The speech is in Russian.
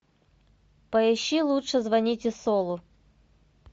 поищи лучше звоните солу